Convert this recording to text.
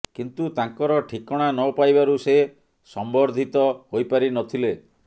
କିନ୍ତୁ ତାଙ୍କର ଠିକଣା ନ ପାଇବାରୁ ସେ ସମ୍ବର୍ଧିତ ହୋଇପାରିନଥିଲେ